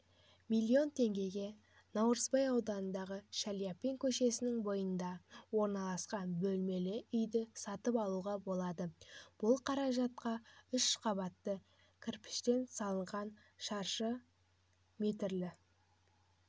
миллион теңгеге наурызбай ауданындағы шаляпин көшесінің бойында орналасқан бөлмелі үйді сатып алуға болады бұл қаражатқа үш қабатты кірпіштен салынған шаршы метрлі